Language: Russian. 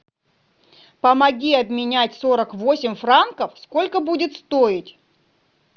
помоги обменять сорок восемь франков сколько будет стоить